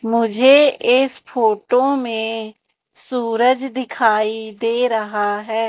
मुझे इस फोटो में सूरज दिखाई दे रहा है।